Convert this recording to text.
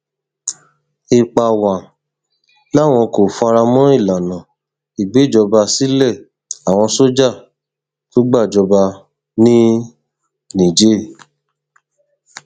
epawàn làwọn kò fara mọ ìlànà ìgbèjọba sílé àwọn sójà tó gbàjọba ní niger